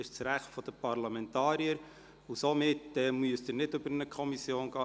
Das ist das Recht der Parlamentarier, und somit müssen diese nicht über eine Kommission gehen.